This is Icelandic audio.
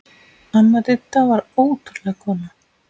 Amma Didda var ótrúleg kona.